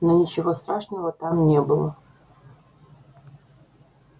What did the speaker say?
но ничего страшного там не было